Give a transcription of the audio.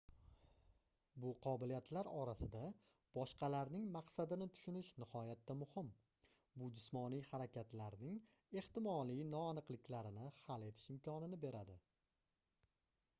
bu qobiliyatlar orasida boshqalarning maqsadini tushunish nihoyatda muhim bu jismoniy harakatlarning ehtimoliy noaniqlikarini hal etish imkonini beradi